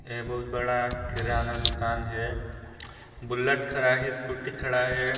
यह बहुत बड़ा किराना दुकान है बुलेट खड़ा है स्कूटी खड़ा है।